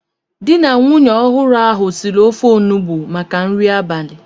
Di na nwunye ọhụrụ ahu siri ofe onugbo maka nri abalị